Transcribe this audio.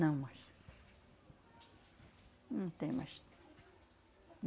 Não mais. Não tem mais.